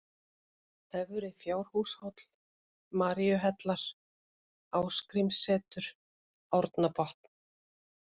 Efri-Fjárhúshóll, Maríuhellar, Ásgrímssetur, Árnabotn